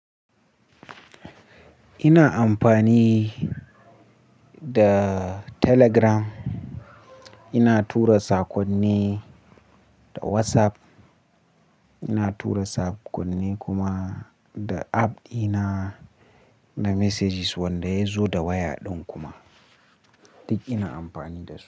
Ina amfani da Telegram, ina tura sakonni da WhatsApp, ina tura sakonni kuma da app dina na messages wanda ya zo da waya ɗin kuma duk ina amfani da su.